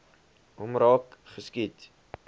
hom raak geskiet